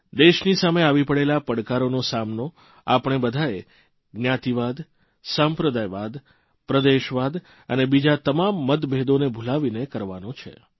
દેશની સામે આવી પડેલા પડકારોનો સામનો આપણે બધાએ જ્ઞાતિવાદ સંપ્રદાયવાદ પ્રદેશવાદ અને બીજા તમામ મતભેદોને ભૂલાવીને કરવાનો છે